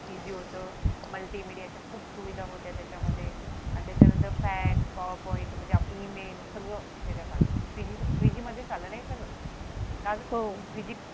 होत multimedia च्या खूप सुविधा होत्या त्याच्या मध्ये आणि त्याच्या नंतर fax power point म्हणजे आपलं ई-मेल सगळं त्याच्यात आलं three G मध्ये मधेच आलं ना हे सगळं का ग